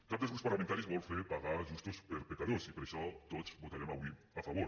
cap dels grups parlamentaris vol fer pagar justos per pecadors i per això tots hi votarem avui a favor